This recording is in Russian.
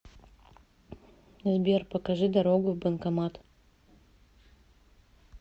сбер покажи дорогу в банкомат